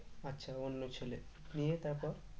আচ্ছা অন্য ছেলে নিয়ে তারপর?